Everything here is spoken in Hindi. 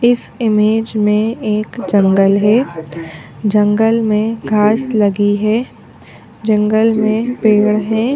इस इमेज में एक जंगल है जंगल में घास लगी है जंगल में पेड़ है।